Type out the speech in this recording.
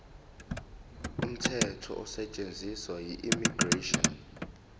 umthetho osetshenziswayo immigration